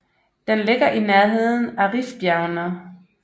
Den ligger i nærheden af Rifbjergene